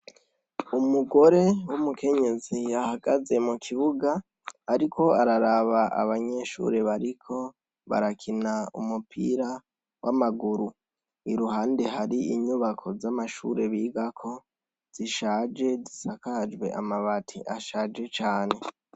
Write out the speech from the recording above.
Umugore w'umukenyezi yahagaze mu kibuga ariko araraba abanyeshure bariko barakina umupira w'amaguru. Iruhande hari inyubako z'amashure bigako zishaje, zisakajwe amabati ashaje cane.